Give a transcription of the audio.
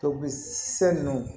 sɛ ninnu